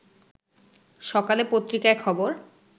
সকালে পত্রিকায় খবর